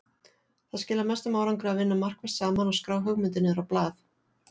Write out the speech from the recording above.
Það skilar mestum árangri að vinna markvisst saman og skrá hugmyndir niður á blað.